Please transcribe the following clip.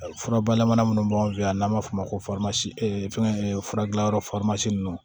Fura bayɛlɛma minnu b'an fɛ yan n'an b'a fɔ o ma ko fura dilanyɔrɔ ninnu